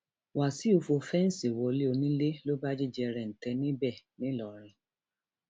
wàṣìù fọ fẹǹsì wọlé onílé ló bá jí jẹrẹǹtẹ níbẹ ńlọrọìn